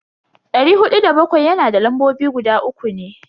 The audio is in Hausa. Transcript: Dari hudu da bakwai yana da lambobi guda uku ne.